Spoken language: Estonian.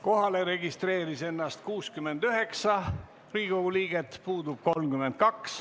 Kohalolijaks registreeris ennast 69 Riigikogu liiget, puudub 32.